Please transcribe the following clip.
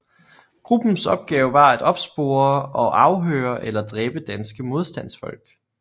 Gruppens opgave var at opspore og afhøre eller dræbe danske modstandsfolk